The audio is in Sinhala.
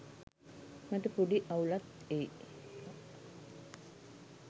මට පොඩි අවුලක් එයි